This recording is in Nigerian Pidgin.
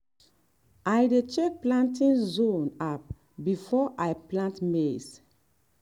i dey check planting zone app before i plant maize.